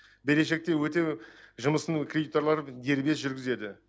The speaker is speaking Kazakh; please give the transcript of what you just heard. берешекті өтеу жұмысын кредиторлар дербес жүргізеді